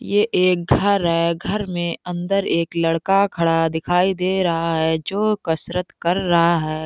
ये एक घर है घर मेंअंदर एक लड़का खड़ा दिखाई दे रहा है जो कसरत कर रहा है |